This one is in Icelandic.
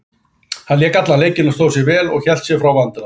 Hann lék allan leikinn og stóð sig vel og hélt sig frá vandræðum.